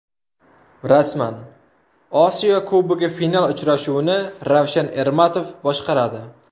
Rasman: Osiyo Kubogi final uchrashuvini Ravshan Ermatov boshqaradi.